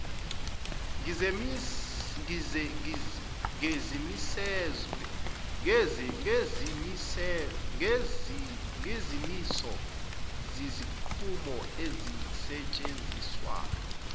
ngezimiso zezinqumo ezisetshenziswa